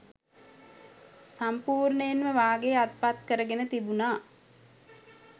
සම්පුර්ණයෙන්ම වාගේ අත්පත්කරගෙන තිබුණා